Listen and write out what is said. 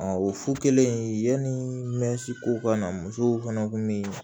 o fo kelen yani mɛsi ko ka na musow fana kun mi